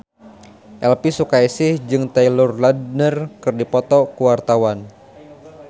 Elvi Sukaesih jeung Taylor Lautner keur dipoto ku wartawan